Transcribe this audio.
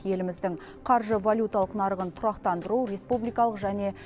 еліміздің қаржы валюталық нарығын тұрақтандыру республикалық және